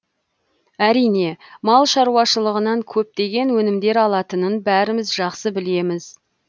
әрине мал шаруашылығынан көптеген өнімдер алынатынын бәріміз жақсы білеміз